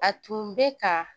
A tun bɛ ka